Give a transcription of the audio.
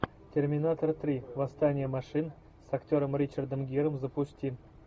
терминатор три восстание машин с актером ричардом гиром запусти